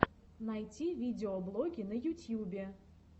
найти видеоблоги на ютьюбе